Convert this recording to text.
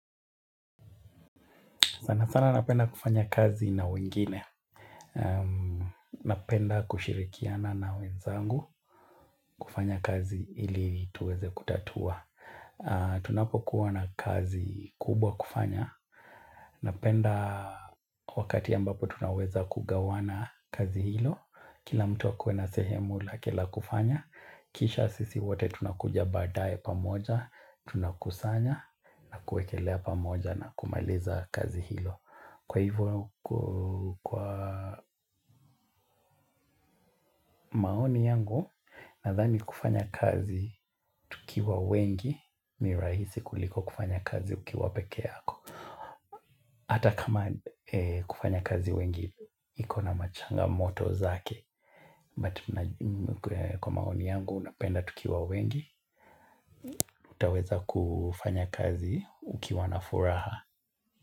Sana sana napenda kufanya kazi na wengine. Napenda kushirikiana na wenzangu kufanya kazi ili tuweze kutatua. Tunapokuwa na kazi kubwa kufanya. Napenda wakati ambapo tunaweza kugawana kazi hilo. Kila mtu akuwe na sehemu lake la kufanya. Kisha sisi wote tunakuja baadae pamoja. Tunakusanya na kuekelea pamoja na kumaliza kazi hilo. Kwa hivyo, kwa maoni yangu, nadhani kufanya kazi tukiwa wengi, ni rahisi kuliko kufanya kazi ukiwa pekee yako. Hata kama kufanya kazi wengi, iko na machangamoto zake. But kwa maoni yangu, napenda tukiwa wengi, utaweza kufanya kazi ukiwa na furaha.